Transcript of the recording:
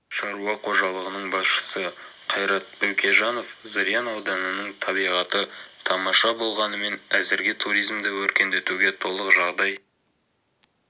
шаруа қожалығының басшысы қайрат бөкежанов зырян ауданының табиғаты тамаша болғанымен әзірге туризмді өркендетуге толық жағдай